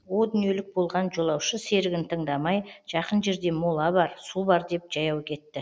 о дүниелік болған жолаушы серігін тыңдамай жақын жерде мола бар су бар деп жаяу кетті